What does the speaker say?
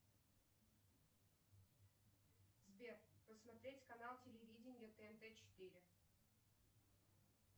сбер посмотреть канал телевидения тнт четыре